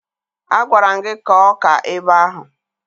Agwara m gị kọọ ọka ebe ahụ!